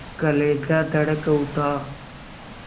कलेजा धड़क उठा